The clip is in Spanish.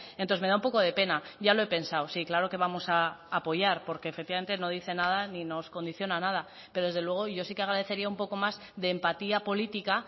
entonces me da un poco de pena ya lo he pensado sí claro que vamos a apoyar porque efectivamente no dice nada ni nos condiciona a nada pero desde luego yo sí que agradecería un poco más de empatía política